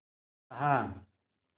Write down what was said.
कहा